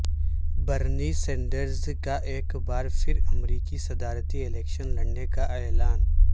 برنی سینڈرزکا ایک بار پھر امریکی صدارتی الیکشن لڑنے کا اعلان